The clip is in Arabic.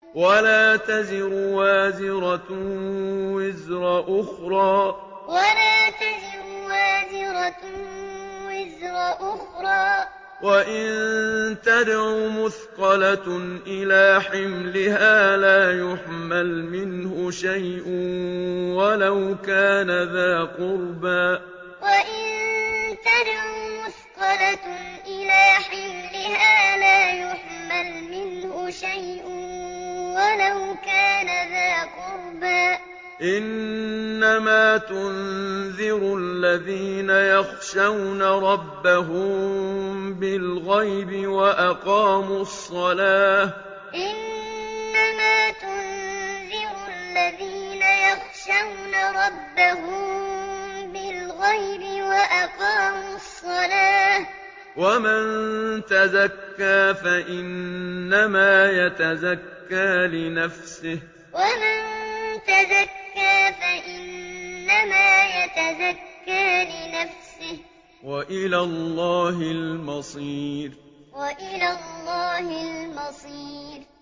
وَلَا تَزِرُ وَازِرَةٌ وِزْرَ أُخْرَىٰ ۚ وَإِن تَدْعُ مُثْقَلَةٌ إِلَىٰ حِمْلِهَا لَا يُحْمَلْ مِنْهُ شَيْءٌ وَلَوْ كَانَ ذَا قُرْبَىٰ ۗ إِنَّمَا تُنذِرُ الَّذِينَ يَخْشَوْنَ رَبَّهُم بِالْغَيْبِ وَأَقَامُوا الصَّلَاةَ ۚ وَمَن تَزَكَّىٰ فَإِنَّمَا يَتَزَكَّىٰ لِنَفْسِهِ ۚ وَإِلَى اللَّهِ الْمَصِيرُ وَلَا تَزِرُ وَازِرَةٌ وِزْرَ أُخْرَىٰ ۚ وَإِن تَدْعُ مُثْقَلَةٌ إِلَىٰ حِمْلِهَا لَا يُحْمَلْ مِنْهُ شَيْءٌ وَلَوْ كَانَ ذَا قُرْبَىٰ ۗ إِنَّمَا تُنذِرُ الَّذِينَ يَخْشَوْنَ رَبَّهُم بِالْغَيْبِ وَأَقَامُوا الصَّلَاةَ ۚ وَمَن تَزَكَّىٰ فَإِنَّمَا يَتَزَكَّىٰ لِنَفْسِهِ ۚ وَإِلَى اللَّهِ الْمَصِيرُ